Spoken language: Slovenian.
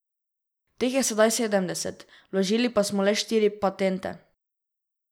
Teh je sedaj sedemdeset, vložili pa smo le štiri patente.